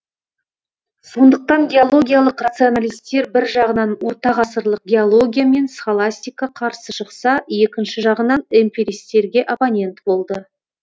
сондықтан геологиялық рационалистер бір жағынан ортағасырлық геология мен схоластика қарсы шықса екінші жағынан эмпиристерге оппонент болды